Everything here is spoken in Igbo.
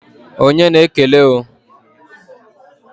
Onye na-ekele o?